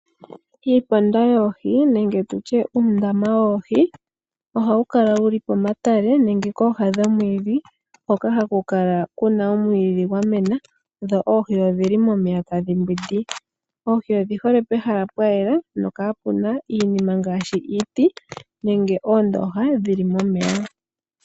Uundama woohi ohawu kala wuli pomatale nenge pooha dhomwiidhi hoka haku kala kuna omwiidhi gwamena dho oohi odhili momeya tadhi mbwindi. Oohi odhihole pehala pwayela nokaamuna iinima ngaashi iiti nenge oondooha dhili momeya.